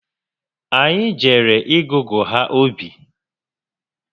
Anyị jere ịgụgụ ha obi